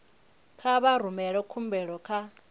kha vha rumele khumbelo kha